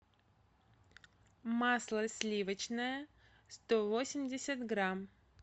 масло сливочное сто восемьдесят грамм